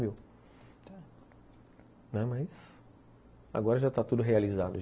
Mas agora já está tudo realizado.